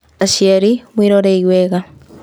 Aciari: Mwĩrorei wega.